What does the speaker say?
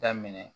Daminɛ